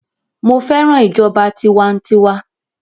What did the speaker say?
Mo fẹ́ràn ìjọba tiwantiwa